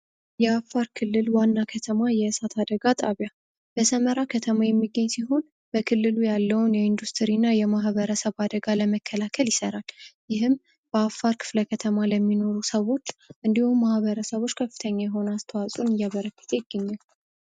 የአፋር ክልል ዋና ከተማ የእሳት አደጋ ጣቢያ ከተማ የሚገኝ ሲሆን በክልሉ ያለውንና የማህበረሰብ አደጋ ለመከላከል ይሠራል ይህም በአፋር ክፍለ ከተማ ለሚኖሩ ሰዎች እንዲሁ ማህበረሰቦች ከፍተኛ የሆነ አስተዋጽኦ እያበረከተ ይገኛል